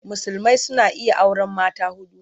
Musulmai suna iya auren mata huɗu.